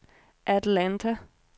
Atlanta